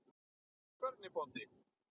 Hvernig bóndi?